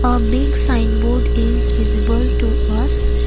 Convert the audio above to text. a big sign board is visible to us.